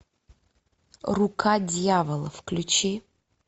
рука дьявола включи